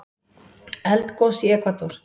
Eldgos í Ekvador